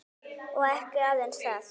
Og ekki aðeins það.